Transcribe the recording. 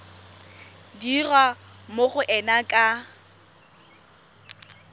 dirwa mo go ena ka